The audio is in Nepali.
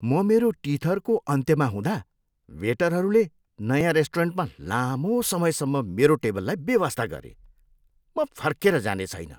म मेरो टिथरको अन्त्यमा हुँदा वेटरहरूले नयाँ रेस्टुरेन्टमा लामो समयसम्म मेरो टेबललाई बेवास्ता गरे। म फर्केर जाने छैन।